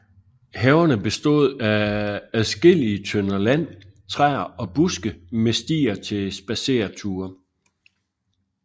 Haverne bestod af adskillige tønder land træer og buske med stier til spadsereture